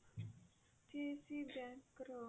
ICIC bank ର